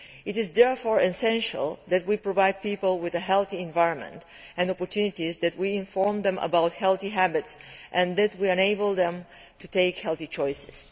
It is therefore essential that we provide people with a healthy environment and opportunities, that we inform them about healthy habits and that we enable them to take healthy choices.